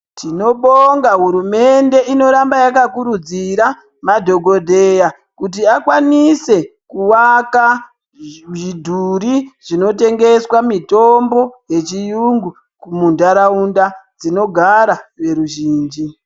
Tinobonga hurumende inoramba yakakurudzira madhokodheya kuti akwanise kuvaka zvidhuri zvinotengeswa mitombo yechiyungu muntaraunda dzinogara veruzhinji.